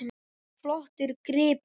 Það var flottur gripur.